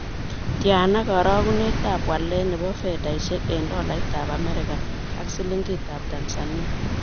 Tyana karogunetap walet ne po fedhaisiek eng' tolaitap amerika ak silingitap tanzania